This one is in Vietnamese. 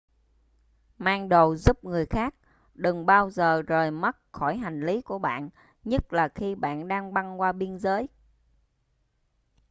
mang đồ giúp người khác đừng bao giờ rời mắt khỏi hành lí của bạn nhất là khi bạn đang băng qua biên giới